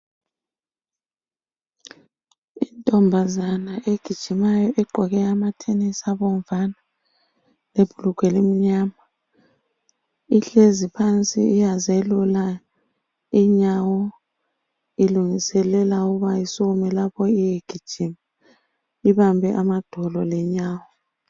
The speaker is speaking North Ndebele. Intombazana egijimayo egqoke amathenisi abomvana lebhulugwe elimnyama ihlezi phansi iyazelula inyawo ilungiselela ukuba isukume lapho iyegijima ibambe amadolo lenyawo